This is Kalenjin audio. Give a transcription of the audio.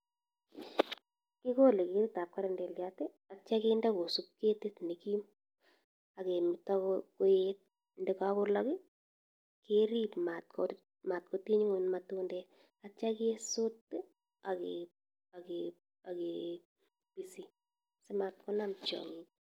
Kikolee ketit ab kerendeliat atya kende kosup ketit nee kiim akemetaa koet ndekakolak kerip matkotiny ingony matundek atya kesuut akesisin sii matkonam tiangik